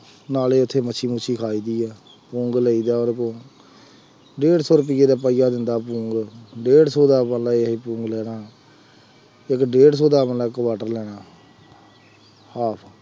ਨਾਲ ਹੀ ਉੱਥੇ ਮੱਛੀ ਮੁੱਛੀ ਖਾਈ ਦੀ ਆ, ਪੌਂਗ ਲਈਦਾ ਉੱਥੇ ਡੇਢ ਸੌਂ ਰੁਪਇਏ ਦਾ ਪਾਈਆ ਦਿੰਦਾ ਪੌਂਗ, ਡੇਢ ਸੌ ਦਾ ਮੰਨ ਲਾ ਇਹ ਅਸੀਂ ਲੈਣਾ, ਇੱਕ ਡੇਢ ਸੌਂ ਆਪਾਂ ਇੱਕ quarter ਲੈਣਾ, ਆਹੋ